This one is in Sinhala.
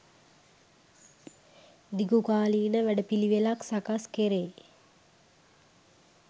දිගුකාලීන වැඩ පිළිවෙළක් සකස් කෙරේ.